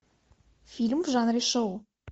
фильм в жанре шоу